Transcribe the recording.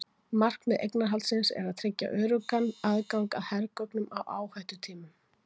markmið eignarhaldsins er að tryggja öruggan aðgang að hergögnum á hættutímum